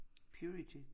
Purity